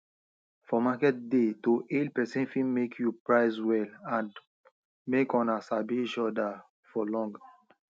for market day to hail person fit make you price well and make una sabi each other for long